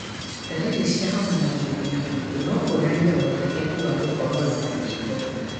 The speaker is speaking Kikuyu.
Ndalriri cia homa na gũthithina kwĩngĩ nokuonanie ũhotekeku wa gũkorwo na mũkingo.